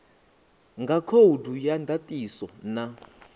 nga khoudu ya ndatiso na